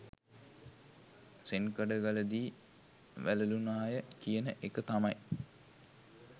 සෙන්කඩගලදී වැලලුනාය කියන එක තමයි.